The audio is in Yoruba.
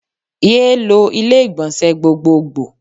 Yéé lo ilé ìgbọ̀nsẹ̀ gbogbogbò.